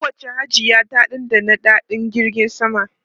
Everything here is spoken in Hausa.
Kowacce Hajiya ta dandana daɗin jirgin sama.